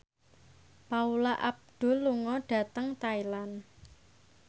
Paula Abdul lunga dhateng Thailand